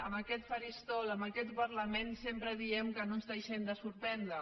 en aquest faristol en aquest parlament sempre diem que no ens deixem de sorprendre